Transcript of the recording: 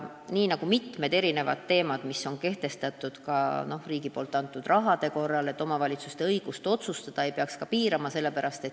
Nii nagu muulgi puhul, kui tegu on riigi jagatava rahaga, ei peaks selleski valdkonnas omavalitsuste otsustusõigust piirama.